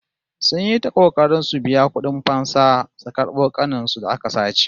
Sun yi ta kokari su biya kudin fansa su karbo ƙanin su da aka sace